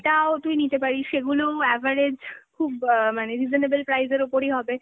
সেটাও তুই নিতে পারিস, সেগুলো average খুব অ মানে reasonable price এর ওপরই হবে